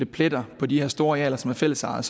pletter på de her store arealer som er fællesejet